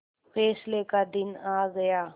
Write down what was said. फैसले का दिन आ गया